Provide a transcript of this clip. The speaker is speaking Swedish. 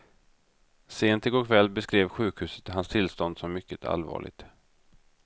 Sent igår kväll beskrev sjukhuset hans tillstånd som mycket allvarligt.